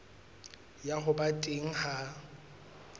ya ho ba teng ha